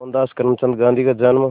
मोहनदास करमचंद गांधी का जन्म